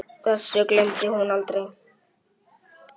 Þessu gleymdi hún aldrei.